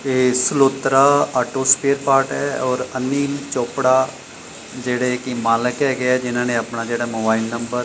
ਇਹ ਸਲੌਤਰਾ auto spare part ਹੈ ਔਰ ਅਨਿਲ ਚੋਪੜਾ ਜਿਹੜੇ ਕੀ ਮਾਲਿਕ ਹੈਗੇ ਆ ਜਿਹਨਾਂ ਨੇ ਆਪਣਾ ਜਿਹੜਾ ਮੋਬਾਈਲ ਨੰਬਰ --